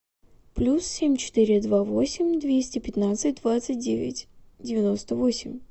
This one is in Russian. плюс семь четыре два восемь двести пятнадцать двадцать девять девяносто восемь